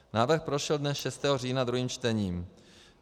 Návrh prošel dne 6. října druhým čtením.